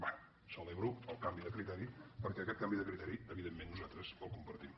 bé celebro el canvi de criteri perquè aquest canvi de criteri evidentment nosaltres el compartim